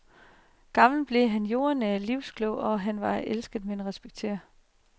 Gammel blev han, jordnær og livsklog, og han var elsket men respektet.